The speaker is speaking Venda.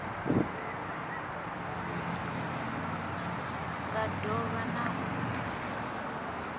nga do vha na u